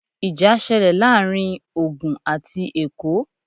Ìjà ṣẹlẹ̀ láàárín Ògùn àti Èkó